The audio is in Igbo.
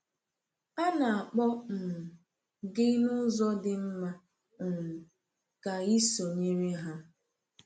A na-akpọ um gị n’ụzọ dị mma um ka ị sonyere ha.